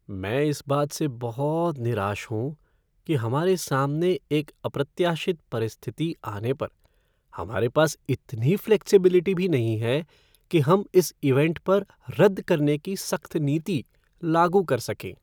मैं इस बात से बहुत निराश हूँ कि हमारे सामने एक अप्रत्याशित परिस्थिति आने पर हमारे पास इतनी फ़्लेक्सिबिलिटी भी नहीं है कि हम इस इवेंट पर रद्द करने की सख्त नीति लागू कर सकें।